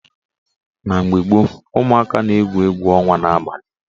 Na mgbe gboo, umụaka na-egwu egwu ọnwa n'abalị